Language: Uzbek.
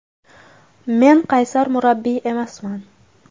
Men qaysar murabbiy emasman.